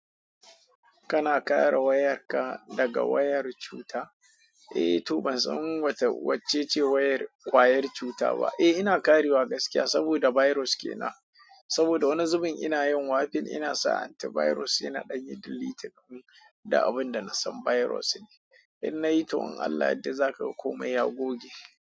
Kana kare wayarka daga wayar cuta? Eh to ban san wacce ce wayar kwayar cuta ba. Eh ina kare wa gaskiya saboda virus ke na, saboda wani zubin ina yin wafin ina sa anti virus yana ɗanyi deleting din da abin da na san virus ne. In nayi toh in Allah ya yarda za ka komai ya goge.